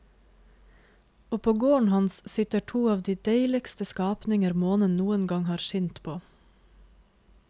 Og på gården hans sitter to av de deiligste skapninger månen noen gang har skint på.